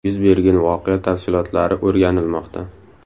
Yuz bergan voqea tafsilotlari o‘rganilmoqda.